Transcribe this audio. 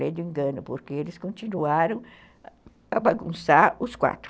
Ledo engano, porque eles continuaram a bagunçar os quatro.